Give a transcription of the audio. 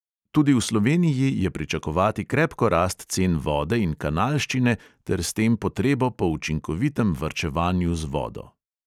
Tudi v sloveniji je pričakovati krepko rast cen vode in kanalščine ter s tem potrebo po učinkovitem varčevanju z vodo.